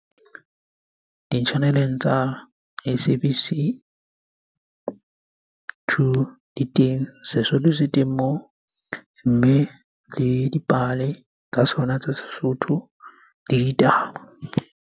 Di-channel-eng tsa S_A_B_C two di teng, Sesotho se teng moo mme le dipale tsa sona tsa Sesotho le ditaba.